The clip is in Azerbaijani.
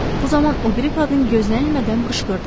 Bu zaman o biri qadın gözlənilmədən qışqırdı.